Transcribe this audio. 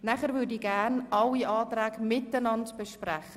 Weiter möchte ich gerne alle Anträge miteinander besprechen.